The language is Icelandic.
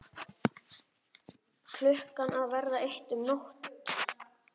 Klukkan að verða eitt um nótt!